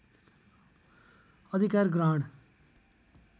अधिकार ग्रहण